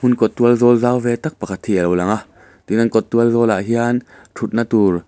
in kawt tualzawl zau ve tak pakhat hi a lo langa tin an kawt tualzawl ah hian thutna tur--